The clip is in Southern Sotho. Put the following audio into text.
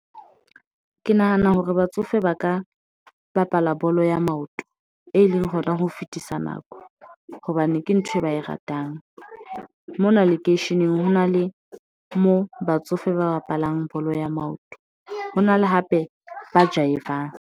Ke nahana hore batsofe ba ka bapala bolo ya maoto, e leng hona ho fetisa nako hobane ke ntho e ba e ratang mona lekeisheneng, hona le mo batsofe ba bapalang bolo ya maoto. Ho na le hape ba jaivang.